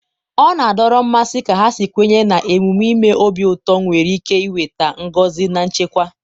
ọ na-adọrọ mmasị ka ha si kwenye na emume ime obi ụtọ nwere ike weta ngọzi na nchekwa.